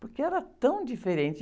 Porque era tão diferente.